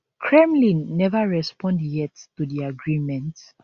kremlin never respond yet to di agreement